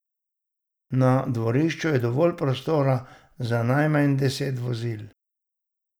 Na dvorišču je dovolj prostora za najmanj deset vozil.